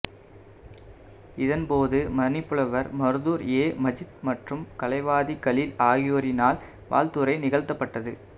இதன்போது மணிப்புலவர் மருதூர் ஏ மஜீத் மற்றும் கலைவாதி கலீல் ஆகியாரினால் வாழ்த்துரை நிகழ்த்தப்பட்டது